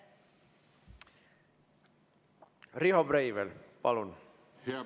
Riho Breivel, palun!